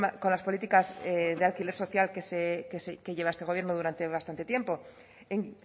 con las políticas de alquiler social que lleva este gobierno durante bastante tiempo en